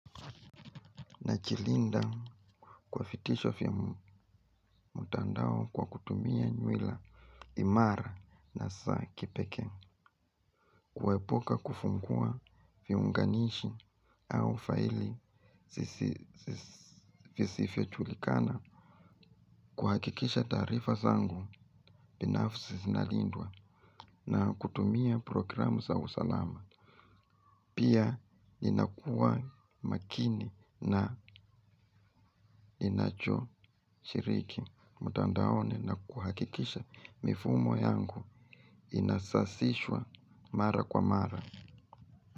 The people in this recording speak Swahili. Najilinda kwa vitisho vya mtandao kwa kutumia nywela imara na saa kipekee. Kuepuka kufungua viunganishi au faili visifijulikana kuhakikisha taarifa zangu binafsi zinalindwa na kutumia programu za usalama. Pia inakua makini na inachoshiriki. Mtandaoni na kuhakikisha mifumo yangu inasasishwa mara kwa mara.